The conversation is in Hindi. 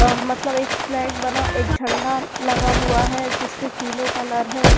अ मतलब एक फ्लैग बना एक झंडा लगा हुआ है जिस पे तीनों कलर है।